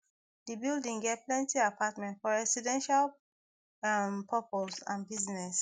di building get plenty apartments for residential um purpose and business